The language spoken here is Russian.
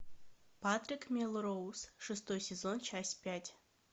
патрик мелроуз шестой сезон часть пять